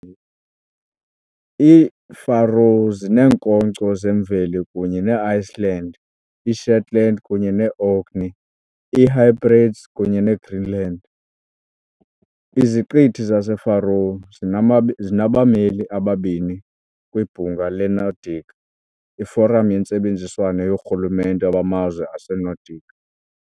IiFaroe zineekhonkco zemveli kunye ne Iceland, iShetland kunye ne Orkney, iHebrides kunye ne Greenland. Iziqithi zaseFaroe zinama zinabameli ababini kwiBhunga leNordic iforamu yentsebenziswano yoorhulumente bamazwe aseNordic.